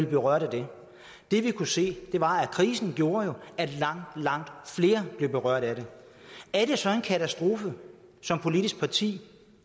berørt af det det vi kunne se var at krisen gjorde at langt langt flere blev berørt af det er det så en katastrofe som politisk parti